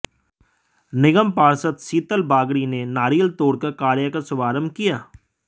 निगम पार्षद शीतल बागड़ी ने नारियल तोड़कर कार्य का शुभारंभ किया